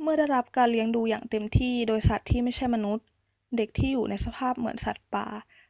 เมื่อได้รับการเลี้ยงดูอย่างเต็มที่โดยสัตว์ที่ไม่ใช่มนุษย์ เด็กที่อยู่ในสภาพเหมือนสัตว์ป่า